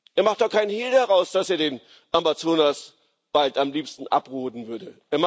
Er macht doch keinen Hehl daraus, dass er den Amazonas bald am liebsten abroden würde.